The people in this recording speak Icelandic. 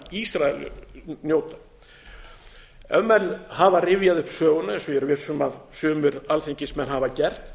ísrael njóta ef menn hafa rifjað upp söguna eins og ég er viss um að sumir alþingismenn hafa gert